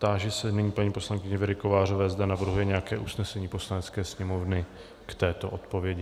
Táži se nyní paní poslankyně Věry Kovářové, zda navrhuje nějaké usnesení Poslanecké sněmovny k této odpovědi.